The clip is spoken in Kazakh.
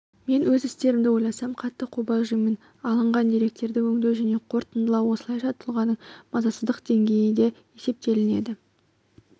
мен өз істерімді ойласам қатты қобалжимын алынған деректерді өңдеу және қорытындылау осылайша тұлғаның мазасыздық деңгейіде есептелінеді